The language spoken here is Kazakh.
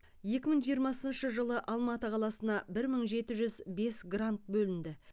екі мың жиырмасыншы жылы алматы қаласына бір мың жеті жүз бес грант бөлінді